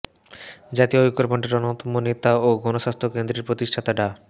জাতীয় ঐক্যফ্রন্টের অন্যতম নেতা ও গণস্বাস্থ্য কেন্দ্রের প্রতিষ্ঠাতা ডা